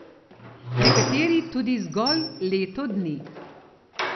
Nekateri tudi zgolj leto dni.